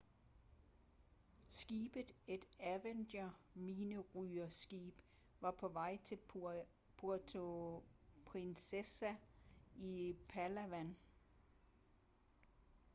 skibet et avenger-minerydningsskib var på vej til puerto princesa i palawan